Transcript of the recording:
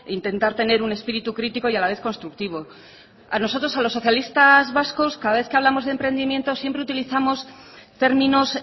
intentar tener un espíritu crítico y a la vez constructivo a nosotros a los socialistas vascos cada vez que hablamos de emprendimiento siempre utilizamos términos